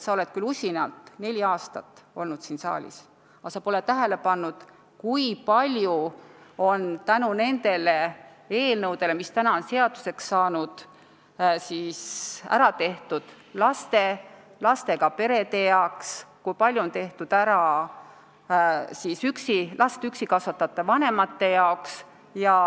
Sa oled küll usinalt neli aastat siin saalis olnud, aga sa pole tähele pannud, kui palju on tänu nendele eelnõudele, mis on seaduseks saanud, ära tehtud laste ja lastega perede heaks, kui palju on ära tehtud last üksi kasvatavate vanemate heaks.